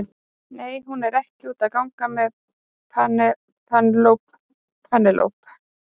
Nei, hún er ekki úti að gang með Penélope.